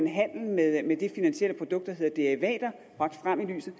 handel med det finansielle produkt der hedder derivater bragt frem i lyset